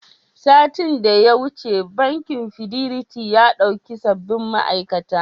Satin da ya wuce, bankin Fidelity ya ɗauki sababbin ma'aikata.